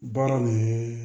Baara nin